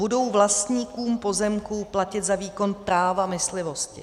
Budou vlastníkům pozemků platit za výkon práva myslivosti.